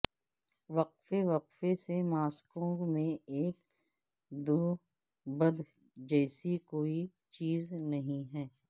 وقفے وقفے سے ماسکو میں ایک دوبد جیسی کوئی چیز نہیں ہے